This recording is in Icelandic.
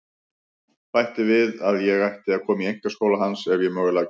Bætti því við að ég ætti að koma í einkaskóla hans ef ég mögulega gæti.